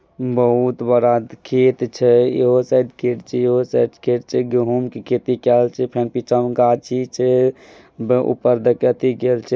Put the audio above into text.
बहुत बड़ा खेत छै यहो साइड खेत छै यहो साइड खेत छै गेंहू खेती केयाल छे फिर बीचा में गाछी छे ऊपर केल छे |